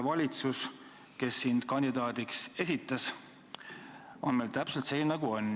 Valitsus, kes sind kandidaadiks esitas, on meil ju täpselt selline, nagu ta on.